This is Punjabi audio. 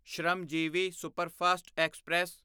Shramjeevi superfast express